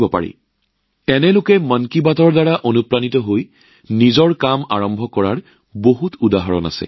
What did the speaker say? আৰু বহু উদাহৰণ আছে যত দেখা গৈছে যে মানুহে কেনেকৈ মন কী বাতৰ পৰা অনুপ্ৰাণিত হৈ নিজাকৈ উদ্যোগ আৰম্ভ কৰিছিল